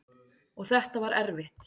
Og þetta var erfitt.